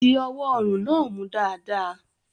Di ọwọ́ ọrùn náà mú dáadáa.